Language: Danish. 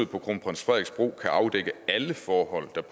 på kronprins frederiks bro kan afdække alle forhold der